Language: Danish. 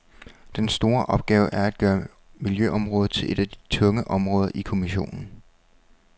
Den store opgave er at gøre miljøområdet til et af de tunge områder i kommissionen.